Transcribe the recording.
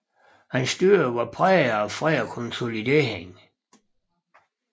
Hans styre var præget af fred og konsolidering